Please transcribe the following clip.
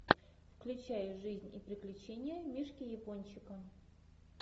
включай жизнь и приключения мишки япончика